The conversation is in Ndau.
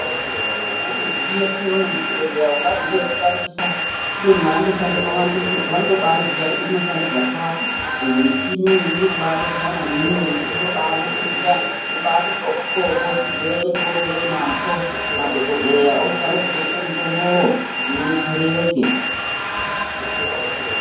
Imweni michini yetinoona muzvibhedhleya ungati ndeyekutambisa kubeni vanotoshandemwo vanotobaiziya kuti inoshande zvakati endi muchini iyi iri kubabetsera maningi ngekuti inobaningira yobati xoko xoko chirwere chounge unacho. Madhogodheya ochitotange kukupe mutombowo kuti udetsereke.